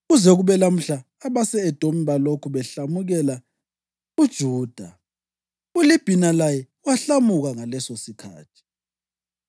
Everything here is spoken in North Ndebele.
Kuze kube lamhla abase-Edomi balokhu behlamukela uJuda. ULibhina laye wahlamuka ngalesosikhathi.